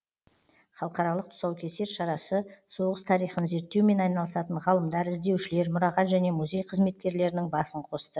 халықаралық тұсаукесер шарасы соғыс тарихын зерттеумен айналысатын ғалымдар іздеушілер мұрағат және музей қызметкерлерінің басын қосты